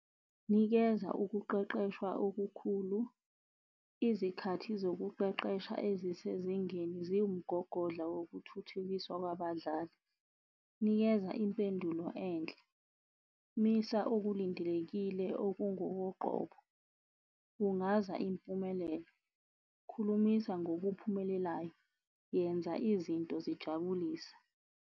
Nikeza ukuqeqeshwa okukhulu, izikhathi zokuqeqesha ezisezingeni ziwumgogodla wokuthuthukiswa kwabadlali. Nikeza impendulo enhle, misa okulindelekile okungokoqobo. Bungaza impumelelo, khulumisa ngokuphumelelayo, yenza izinto zijabulise.